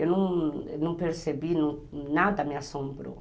Eu não não percebi, nada me assombrou.